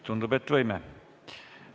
Tundub, et võime.